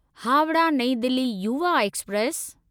Howrah New Delhi Yuva express